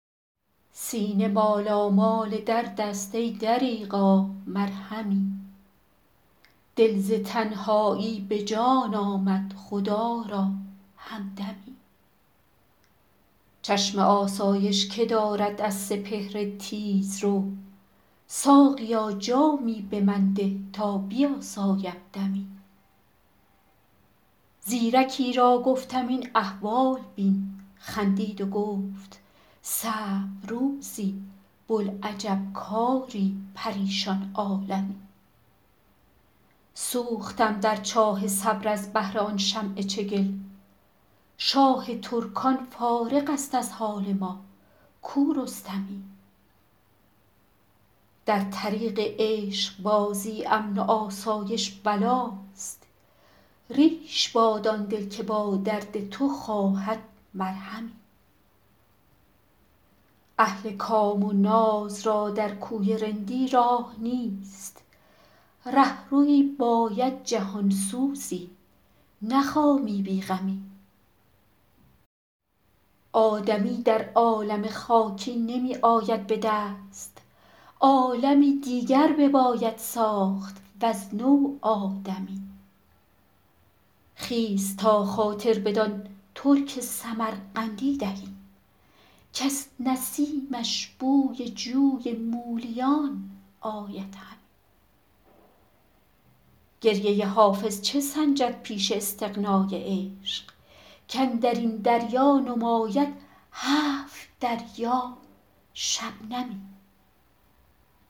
سینه مالامال درد است ای دریغا مرهمی دل ز تنهایی به جان آمد خدا را همدمی چشم آسایش که دارد از سپهر تیزرو ساقیا جامی به من ده تا بیاسایم دمی زیرکی را گفتم این احوال بین خندید و گفت صعب روزی بوالعجب کاری پریشان عالمی سوختم در چاه صبر از بهر آن شمع چگل شاه ترکان فارغ است از حال ما کو رستمی در طریق عشق بازی امن و آسایش بلاست ریش باد آن دل که با درد تو خواهد مرهمی اهل کام و ناز را در کوی رندی راه نیست رهروی باید جهان سوزی نه خامی بی غمی آدمی در عالم خاکی نمی آید به دست عالمی دیگر بباید ساخت وز نو آدمی خیز تا خاطر بدان ترک سمرقندی دهیم کز نسیمش بوی جوی مولیان آید همی گریه حافظ چه سنجد پیش استغنای عشق کاندر این دریا نماید هفت دریا شبنمی